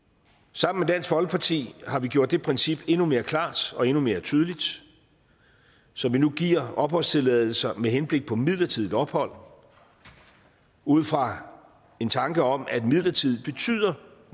sammen med dansk folkeparti har vi gjort det princip endnu mere klart og endnu mere tydeligt så vi nu giver opholdstilladelser med henblik på midlertidigt ophold ud fra en tanke om at midlertidigt betyder